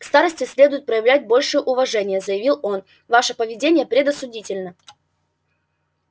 к старосте следует проявлять большее уважение заявил он ваше поведение предосудительно